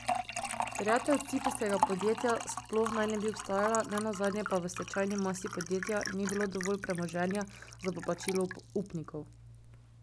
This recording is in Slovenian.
Terjatev ciprskega podjetja sploh naj ne bi obstajala, ne nazadnje pa v stečajni masi podjetja ni bilo dovolj premoženja za poplačilo upnikov.